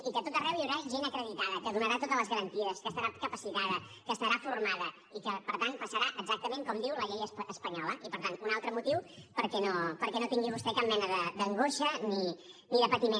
i que a tot arreu hi haurà gent acreditada que donarà totes les garanties que estarà capacitada que estarà formada i que per tant passarà exactament com diu la llei espanyola i per tant un altre motiu perquè no tingui vostè cap mena d’angoixa ni de patiment